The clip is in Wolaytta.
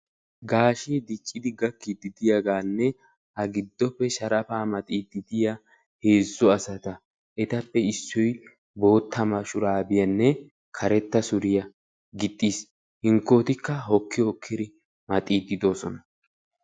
Gaashshee gakkidi dicciidi diyaaganne a gidoppe sharapaa maxiidi diyaa asata etappe issoy bootta shuraabiyaa karetta suriyaa gixxiis. hinkotikka hokki hokkidi maxiidi de'oosona.